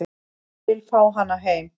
Vill fá hana heim